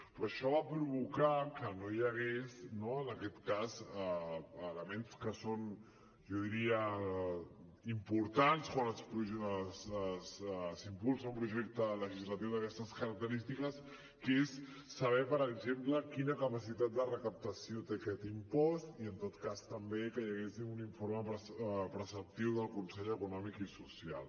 però això va provocar que no hi hagués elements que són jo diria importants quan s’impulsa un projecte legislatiu d’aquestes característiques que és saber per exemple quina capacitat de recaptació té aquest impost i en tot cas també que hi hagués un informe preceptiu del consell econòmic i social